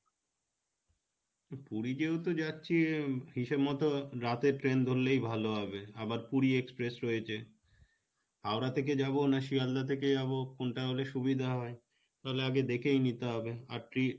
তো পুরি যেহেতু যাচ্ছি হিসেব মতো রাতের train ধরলেই ভালো হবে আবার পুরি express রয়েছে হাওড়া থেকে যাবো না সিয়ালদাহ থেকে যাবো কোনটা হলে সুবিধা হয় তাহলে আগে দেখেই নিতে হবে আর ti